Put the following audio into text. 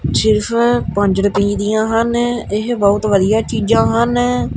ਪੰਜ ਰੁਪਈਆਂ ਦੀਆਂ ਹਨ ਇਹ ਬਹੁਤ ਵਧੀਆ ਚੀਜ਼ਾਂ ਹਨ।